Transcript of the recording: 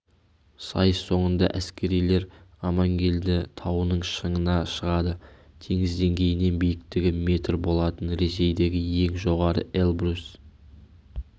сайыс соңында әскерилер амангелді тауының шыңына шығады теңіз деңгейінен биіктігі метр болатын ресейдегі ең жоғары эльбрус